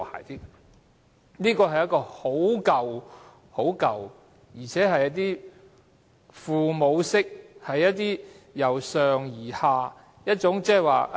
這是一套很舊的想法，是一種父母式，由上而下的思維。